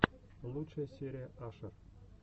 лучшая серия ашер